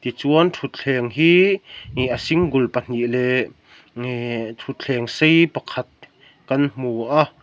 tichuan thutthleng hi eh a single pahnih leh thutthleng sei pakhat kan hmu a--